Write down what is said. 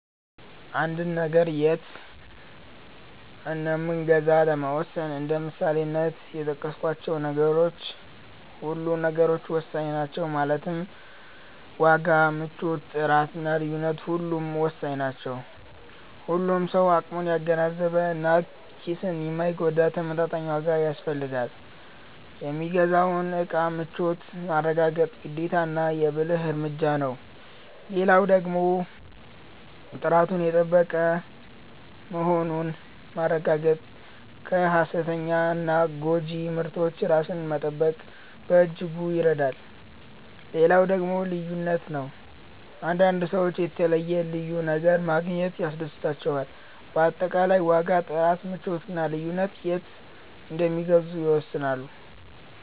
አንድን ነገር የት እንምገዛ ለመወሰን እንደ ምሳሌነት የጠቀስካቸው ሁሉም ነገሮች ወሳኝ ናቸው ማለትም ዋጋ፣ ምቾት፣ ጥራት እና ልዩነት ሁሉም ወሳኝ ናቸው። ሁሉም ሰው አቅሙን ያገናዘበ እና ኪስን የማይጎዳ ተመጣጣኝ ዋጋ ይፈልጋል። የሚገዛውን እቃ ምቾት ማረጋገጥ ግዴታና የ ብልህ እርምጃ ነው። ሌላው ደግሞ ጥራቱን የጠበቀ መሆኑን ማረጋገጥ ከ ሃሰተኛና ጎጂ ምርቶች ራስን ለመጠበቅ በእጅጉ ይረዳል። ሌላው ነገር ልዩነት ነው፤ አንዳንድ ሰዎች የተለየ(ልዩ) ነገር ማግኘት ያስደስታቸዋል። በአጠቃላይ ዋጋ፣ ጥራት፣ ምቾት እና ልዩነት የት እንደሚገዙ ይወስናሉ።